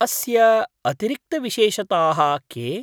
अस्य अतिरिक्तविशेषताः के?